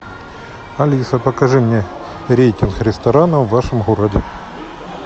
алиса покажи мне рейтинг ресторанов в вашем городе